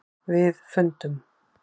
. við fundum.